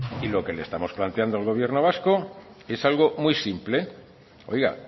y lo que le estamos planteando al gobierno vasco es algo muy simple oiga